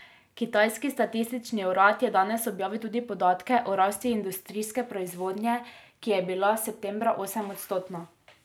Kitajski statistični urad je danes objavil tudi podatke o rasti industrijske proizvodnje, ki je bila septembra osemodstotna.